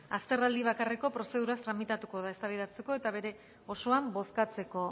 azterraldi bakarreko prozeduraz tramitatuko da eztabaidatzeko eta bere osoan bozkatzeko